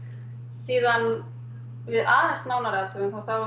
síðan við aðeins nánari athugun þá